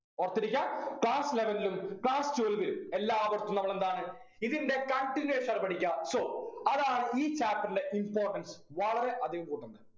ഓർത്തിരിക്കുക class eleven ലും class twelve ൽ എല്ലാവട്ത്ത് നമ്മളെന്താണ് ഇതിൻ്റെ continuation ആണ് പഠിക്കാ so അതാണ് ഈ chapter ൻ്റെ importance വളരെ അധികം കൂട്ടുന്നത്